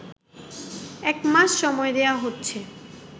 একমাস সময় দেয়া হচ্ছে